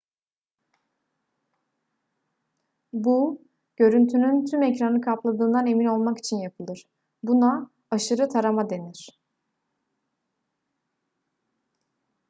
bu görüntünün tüm ekranı kapladığından emin olmak için yapılır buna aşırı tarama denir